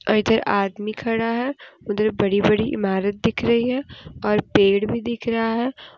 और इधर आदमी खड़ा है उधर बड़ी बड़ी इमारत दिख रही है और पेड़ भी दिख रहा है।